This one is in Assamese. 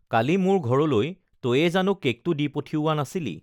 কালি মোৰ ঘৰলৈ তয়েই জানো কেকটো দি পঠিওৱা নাছিলি